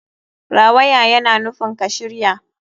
Rawaya yana nufin ka shirya.